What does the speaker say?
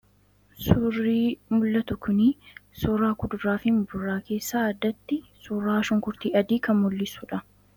Suurii mul'atu kunii suuraa kuduraa fii muduraa keessaa addatti suuraa shunkurtii adii kan mul'issuudha.